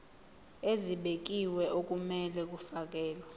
ezibekiwe okumele kufakelwe